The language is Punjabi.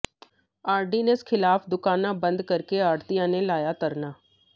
ਆਰਡੀਨੈਂਸ ਖ਼ਿਲਾਫ਼ ਦੁਕਾਨਾਂ ਬੰਦ ਕਰ ਕੇ ਆੜ੍ਹਤੀਆਂ ਨੇ ਲਾਇਆ ਧਰਨਾ